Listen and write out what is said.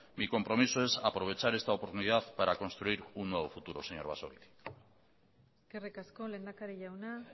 mi compromiso es aprovechar esta oportunidad para construir un nuevo futuro señor basagoiti eskerrik asko lehendakari jauna